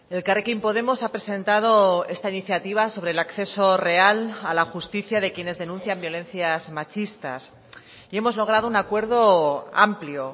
elkarrekin podemos ha presentado esta iniciativa sobre el acceso real a la justicia de quienes denuncian violencias machistas y hemos logrado un acuerdo amplio